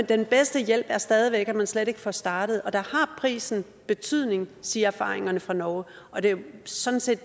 den bedste hjælp er stadig væk at man slet ikke får startet og der har prisen betydning siger erfaringerne fra norge og det er jo sådan set